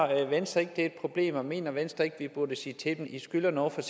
venstre ikke at det er et problem og mener venstre ikke at vi burde sige til dem at de skylder noget fra